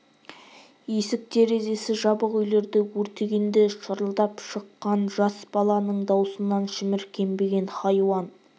есік-терезесі жабық үйлерді өртегенде шырылдап шыққан жас баланың даусынан шіміркенбеген хайуан